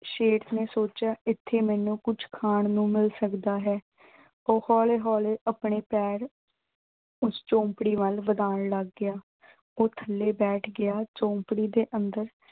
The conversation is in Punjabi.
ਸ਼ੇਰ ਨੇ ਸੋਚਿਆ, ਇਥੇ ਮੈਨੂੰ ਕੁਝ ਖਾਣ ਨੂੰ ਮਿਲ ਸਕਦਾ ਹੈ। ਉਹ ਹੌਲੀ-ਹੌਲੀ ਆਪਣੇ ਪੈਰ ਉਸ ਝੌਂਪੜੀ ਵੱਲ ਵਧਾਉਣ ਲੱਗ ਗਿਆ। ਉਹ ਥੱਲੇ ਬੈਠ ਗਿਆ, ਝੌਂਪੜੀ ਦੇ ਅੰਦਰ